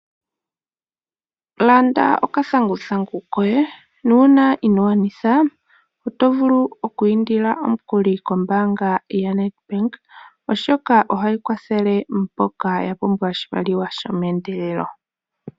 Landa okathanguthangu koye nuuna inogwanitha otovulu oku indila omukuli kombaanga yo Nedbank oshoka ohayi kwathele mboka yapumbwa oshimaliwa shomeendelelo